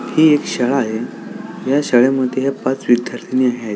ही एक शाळा आहे या शाळे मध्ये ह्या पाच विध्यार्थीनी आहेत.